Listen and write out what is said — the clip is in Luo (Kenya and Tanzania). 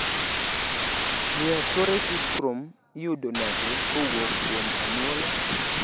Muir Torre syndrome iyudo nade kowuok kuom anyuola?